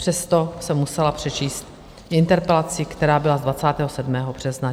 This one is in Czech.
Přesto jsem musela přečíst interpelaci, která byla z 27. března.